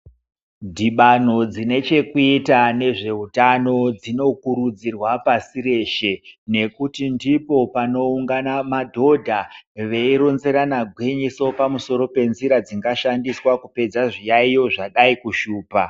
Dhibano dzine chekuita bezveutano dzinokurudzirwa pasi reshe nekuti ndipo panoungana madhodha veyironzerana gwinyiso pamusoro penzira dzingashandiswa kupedza zviyayiyo zvadai kushupa